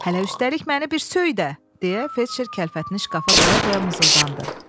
Hələ üstəlik məni bir söy də, deyə felçer kəlfətini şkafa qoya-qoya mızıldandı.